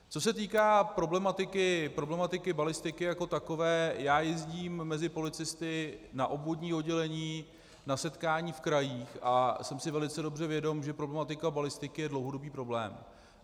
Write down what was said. Co se týká problematiky balistiky jako takové, já jezdím mezi policisty na obvodní oddělení na setkání v krajích a jsem si velice dobře vědom, že problematika balistiky je dlouhodobý problém.